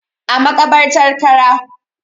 A makabartar Kara